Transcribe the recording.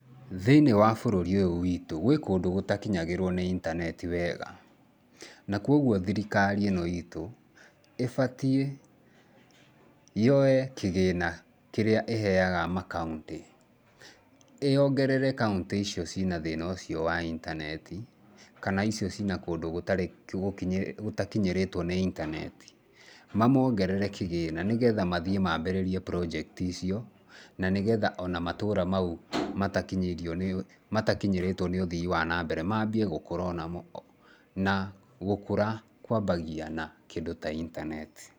Thĩinĩ wa bũrũri ũyũ witũ gwĩ kũndũ gũtakinyagĩrwo na intaneti wega. Na kwoguo thirikari ĩno itũ ĩbatiĩ yoe kĩgĩna kĩrĩa ĩheaga makaũnti, ĩongerere kaũntĩ icio ciĩna thĩna ũcio wa intaneti kana icio cina kũndũ gũtakinyĩrĩtwo nĩ intaneti, mamoongerere kĩgĩna nĩgetha mathiĩ maambĩrĩrie project icio, na nĩgetha o na matũra mau matakinyĩirio matakinyĩrĩtwo nĩ ũthii wa nambere maambie gũkũra o nao, na gũkũra kũambagia na kĩndũ ta intaneti.